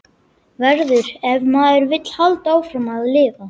Verður- ef maður vill halda áfram að lifa.